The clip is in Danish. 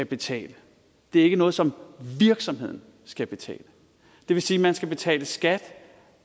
betale det er ikke noget som virksomheden skal betale det vil sige at man skal betale skat